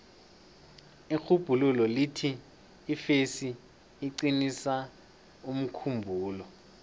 irhubhululo lithi ifesi iqinisa umkhumbulo